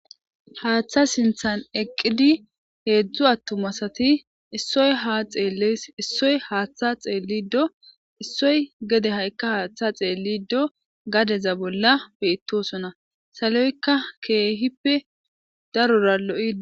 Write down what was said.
haaththa sinthan eqqidi heedzdzu attumasati issoy ha xeelles issoy haaththa xeellido issoy gede ha7ikka haaththa xeellido gadeza bolla beittosona saloykka keehippe darora lo7ii